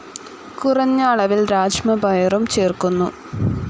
കുറഞ്ഞ അളവിൽ രാജ്മ പയറും ചേർക്കുന്നു.